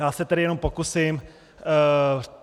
Já se tedy jenom pokusím.